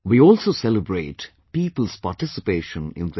We also celebrate people's participation in this